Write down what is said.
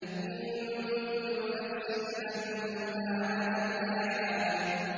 إِن كُلُّ نَفْسٍ لَّمَّا عَلَيْهَا حَافِظٌ